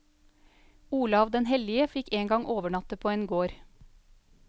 Olav den hellige fikk engang overnatte på en gård.